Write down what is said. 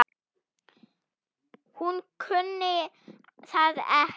Hún kunni það ekki.